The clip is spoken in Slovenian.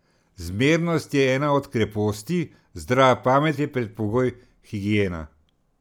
Zmernost je ena od kreposti, zdrava pamet je predpogoj, higiena.